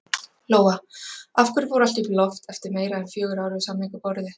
Lóa: Af hverju fór allt í loft upp eftir meira en fjögur ár við samningaborðið?